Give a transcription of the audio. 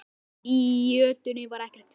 Í jötunni var ekkert vit.